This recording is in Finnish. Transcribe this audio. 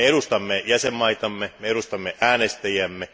Me edustamme jäsenvaltioitamme, me edustamme äänestäjiämme.